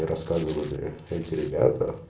и рассказывали эти ребята